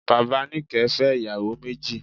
Bàbá Níkẹ̀ẹ́ fẹ́ ìyàwó méjì.